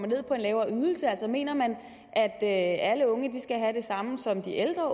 ned på en lavere ydelse altså mener man at at alle unge skal have det samme som de ældre